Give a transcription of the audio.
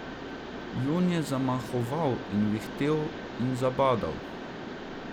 Jon je zamahoval in vihtel in zabadal.